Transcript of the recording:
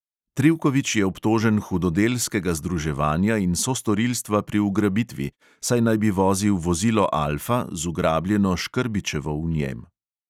Trivković je obtožen hudodelskega združevanja in sostorilstva pri ugrabitvi, saj naj bi vozil vozilo alfa z ugrabljeno škrbićevo v njem.